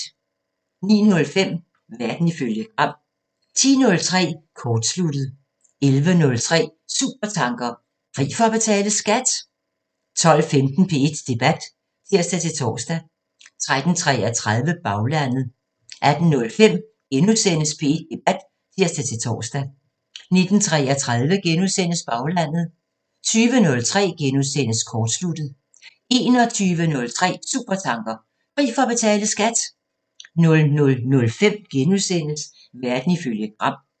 09:05: Verden ifølge Gram 10:03: Kortsluttet 11:03: Supertanker: Fri for at betale skat! 12:15: P1 Debat (tir-tor) 13:33: Baglandet 18:05: P1 Debat *(tir-tor) 19:33: Baglandet * 20:03: Kortsluttet * 21:03: Supertanker: Fri for at betale skat! 00:05: Verden ifølge Gram *